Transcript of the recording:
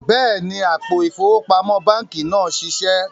Bẹẹni, àpò ifowópamọ̀ bankí náà n ṣíṣẹ